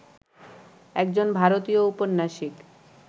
একজন ভারতীয় ঔপন্যাসিক